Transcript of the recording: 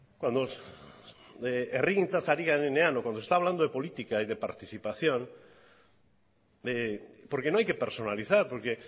cuando herrigintzaz ari garenean o cuando se está hablando de política y de participación porque no hay que personalizar porque